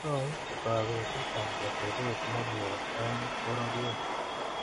Tou kabetetab atebet ne mie eng pororiet